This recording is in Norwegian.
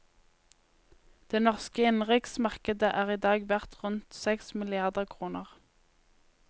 Det norske innenriksmarkedet er i dag verdt rundt seks milliarder kroner.